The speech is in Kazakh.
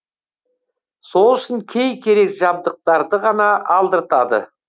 сол үшін кей керек жабдықтарды ғана алдыртады